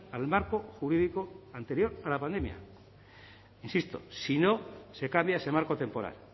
al marco jurídico anterior a la pandemia insisto si no se cambia ese marco temporal